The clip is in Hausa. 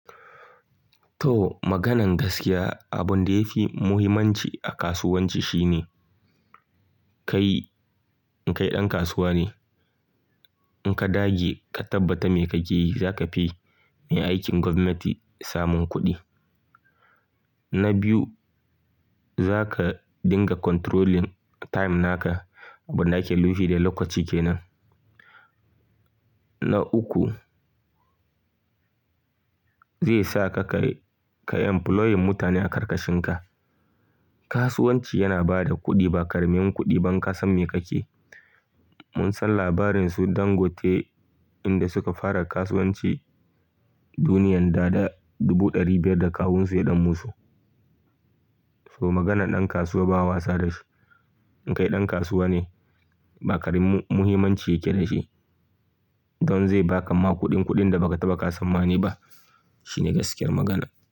To, maganan gaskiya, abun da ya fi muhimmanci a kasuwanci shine kai, in kai ɗan kasuwa ne, in ka dage ka tabbata me kake yi, za ka fi mai aikin gwamnati samun kuɗi. Na biyu, za ka dinga controlling time naka, abin da ake nufi da lokaci ke nan. Na uku, zai sa ka kai, ka employing mutane a karkashinka. Kasuwanci yana bada kuɗi ba karamin kuɗi ba inka san me kake. Mun san labarin su Dangote inda suka fara kasuwanci duniyan dada dubu dari biyar da kawunsu ya ɗan musu. To maganan ɗan kasuwa ba a wasa da shi. In kai ɗan kasuwa ne, ba ƙarin mu-muhimanci yake da shi. Don zai baka ma kuɗin kuɗin da ba ka taɓa sanmani ba. Shine gaskiyar magana.